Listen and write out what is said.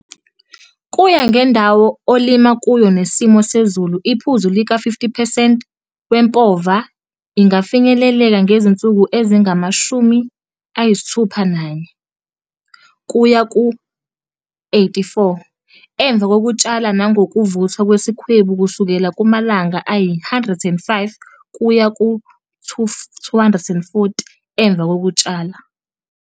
Kuya ngendawo olima kuyo nesimo sezulu iphuzu lika-50 percent wempova ingafinyeleleka ngezinsuku ezingama-64 kuya ku-84 emva kokutshala nangokuvuthwa kwesikhwebu kusukela kumalanga ayi-105 kuye ku-240 emva kokutshala.